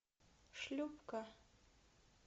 шлюпка